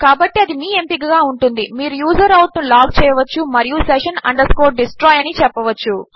కాబట్టి అది మీ ఎంపికగా ఉంటుంది - మీరు యూజర్ ఔట్ ను లాగ్ చేయవచ్చు మరియు session destroy అని చెప్పవచ్చు